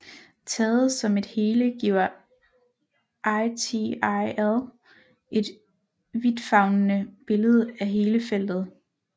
Taget som et hele giver ITIL et vidtfavnende billede af hele feltet